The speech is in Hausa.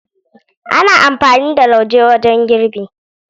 Ana amfani da lauje wajen girbi.